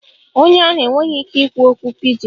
Onye ahụ enweghị ike ikwu okwu pidgin